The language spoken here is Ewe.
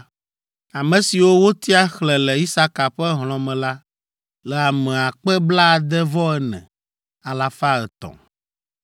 Ame siwo wotia xlẽ le Isaka ƒe hlɔ̃ me la le ame akpe blaade-vɔ-ene alafa etɔ̃ (64,300).